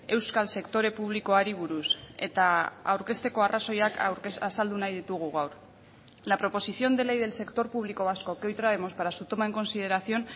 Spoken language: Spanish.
euskal sektore publikoari buruz eta aurkezteko arrazoiak azaldu nahi ditugu gaur la proposición de ley del sector público vasco que hoy traemos para su toma en consideración